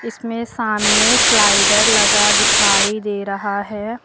इसमें सामने स्लाइडर लगा दिखाई दे रहा है।